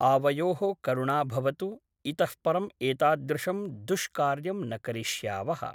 आवयोः करुणा भवतु इतः परम् एतादृशं दुष्कार्यं न करिष्यावः ।